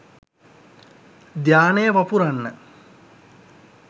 ධ්‍යානය වපුරන්න